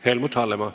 Helmut Hallemaa.